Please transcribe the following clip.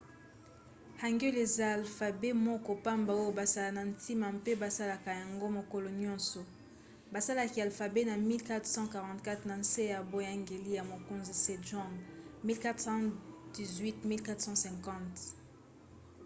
hangeul ezali alfabe moko pamba oyo basala na ntina mpe basalelaka yango mokolo nyonso. basalaki alfabe na 1444 na nse ya boyangeli ya mokonzi sejong 1418 – 1450